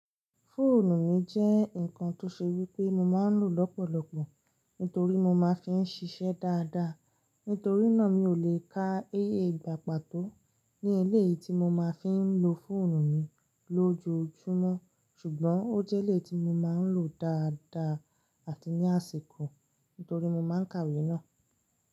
Fóònù mi jẹ́ ǹkan tó ṣe wípé mo máa ń lò lọ́pọ̀lọpọ̀ nítorí mo máa ń fi ń ṣiṣẹ́ dáadáa. Nítorínà mi ò lè ká eyé ìgbà pàtó ní eléyìí tí mo máa ń fi ń lo fọ́ònù mi lójoojúmọ́. Ṣùgbọ́n ó jẹ́ eléyi tí mo máa ń lò dáadáa àti ní àsìkò, nítorí mo máa ń kàwé náà.